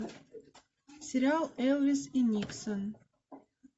сериал элвис и никсон